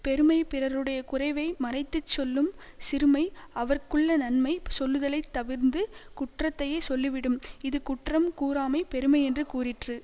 பெருமை பிறருடைய குறைவை மறைத்துச் சொல்லும் சிறுமை அவர்க்குள்ள நன்மை சொல்லுதலைத் தவிர்ந்து குற்றத்தையே சொல்லிவிடும் இது குற்றம் கூறாமை பெருமையென்று கூறிற்று